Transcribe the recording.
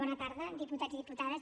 bona tarda diputats i diputades